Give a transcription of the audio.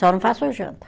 Só não faço a janta.